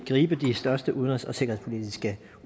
gribe de største udenrigs og sikkerhedspolitiske